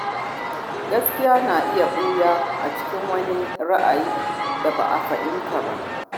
Gaskiya na iya ɓuya a cikin wani ra’ayi da ba a fahimta ba.